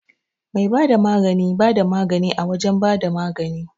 Mai bada magani bada magani a wajan bada magani